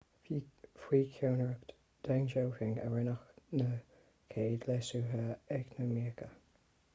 faoi cheannaireacht deng xiaoping a rinneadh na chéad leasuithe eacnamaíocha